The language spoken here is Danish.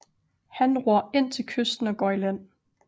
Han ror ind til kysten og går i land